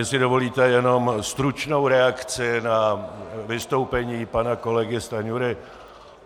Jestli dovolíte, jenom stručnou reakci na vystoupení pana kolegy Stanjury.